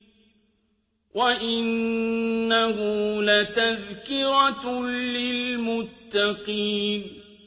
وَإِنَّهُ لَتَذْكِرَةٌ لِّلْمُتَّقِينَ